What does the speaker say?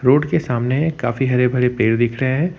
Road के सामने काफी हरे भरे पेड़ दिख रहे हैं।